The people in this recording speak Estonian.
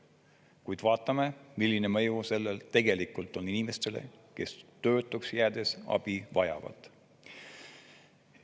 Kuid vaatame, milline mõju sellel tegelikult on inimestele, kes töötuks jäädes abi vajavad.